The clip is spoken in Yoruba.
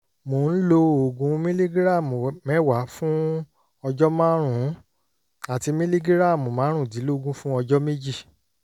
mò ń lo oògùn mìlígíráàmù mẹ́wàá fún ọjọ́ márùn-ún àti mìlígíráàmù márùndínlógún fún ọjọ́ méjì